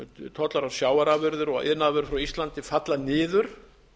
tollar á sjávarafurðir og iðnaðarvörur frá íslandi falla niður